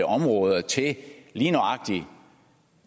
områder til lige nøjagtig